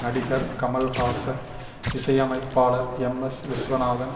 நடிகர் கமல்ஹாச இசையமைப்பாளர் எம்எஸ் விஸ்வநாதன்